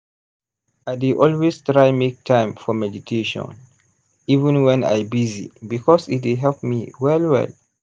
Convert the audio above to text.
i dey always try make time for meditation even wen i busy because e dey help me well well.